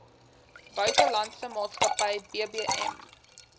buitelandse maatskappy bbm